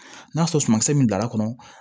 N'a sɔrɔ sumankisɛ min bilal'a kɔnɔ